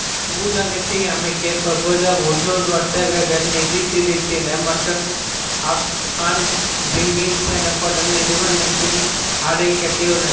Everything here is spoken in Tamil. நூலகத்தை அமைக்க பிரபல உள்ளூர் வர்த்தகர்கள் நிதிதிரட்டினர் மற்றும் ஆபட் அன்ட் ஜெங்கின்ஸ் எனப்படும் நிறுவனத்தினர் அதை கட்டியுள்ளனர்